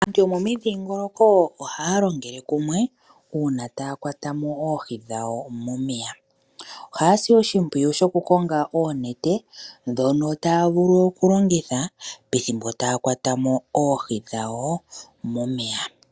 Aantu yomomidhiingoloko ohaya longele kumwe uuna taya kwata mo oohi dhawo momeya. Ohaya si oshipwiyu shoku konga oonete dhono taya vulu okulongitha pethimbo taya kwata mo oohi dhawo momeya.